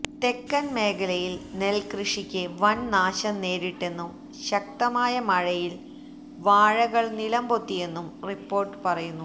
തെക്കൻ മേഖലയിൽ നെൽക്കൃഷിക്ക് വൻ നാശം നേരിട്ടെന്നും ശക്തമായ മഴയിൽ വാഴകൾ നിലംപൊത്തിയെന്നും റിപ്പോർട്ട് പറയുന്നു